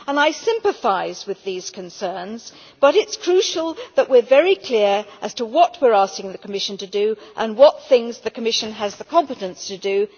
I sympathise with these concerns but it is crucial that we are very clear as to what we are asking the Commission to do and what things the Commission has the competence to do.